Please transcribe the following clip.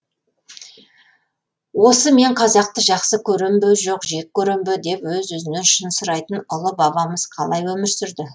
осы мен қазақты жақсы көрем бе жоқ жек көрем бе деп өз өзінен шын сұрайтын ұлы бабамыз қалай өмір сүрді